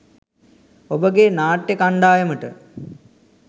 ඔබගේ නාට්‍ය කණ්ඩායමට